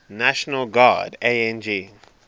national guard ang